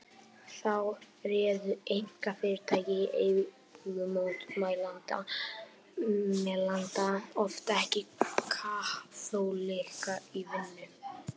Þá réðu einkafyrirtæki í eigu mótmælenda oft ekki kaþólikka í vinnu.